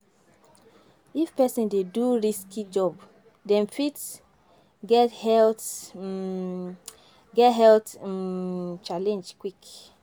If person dey do risky job dem fit get health um get health um challenge quick